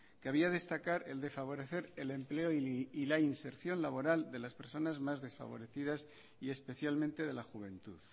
cabía destacar el de favorecer el empleo y la inserción laboral de las personas más desfavorecidas y especialmente de la juventud